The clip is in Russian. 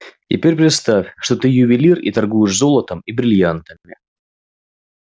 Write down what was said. теперь представь что ты ювелир и торгуешь золотом и брильянтами